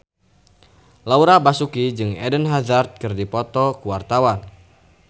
Laura Basuki jeung Eden Hazard keur dipoto ku wartawan